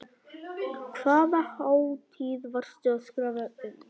Hvaða hátíð varstu að skrifa um?